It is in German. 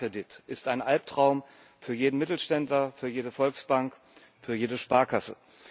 AnaCredit ist ein Alptraum für jeden Mittelständler, für jede Volksbank, für jede Sparkasse.